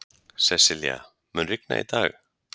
Sessilía, mun rigna í dag?